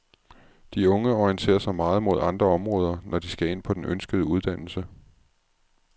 De unge orienterer sig meget mod andre områder, når de skal ind på den ønskede uddannelse.